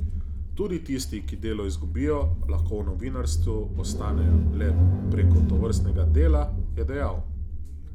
Tudi tisti, ki delo izgubijo, lahko v novinarstvu ostanejo le preko tovrstnega dela, je dejal.